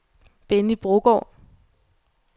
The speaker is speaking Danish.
Benny Brogaard